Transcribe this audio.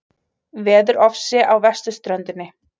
Veðurofsi á vesturströndinni